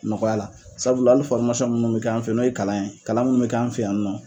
Nɔgɔya la sabula ali fɔrimasɔn munnu bi k'an fe yen n'o ye kalan ye kalan munnu bi kɛ an fɛ yan nɔ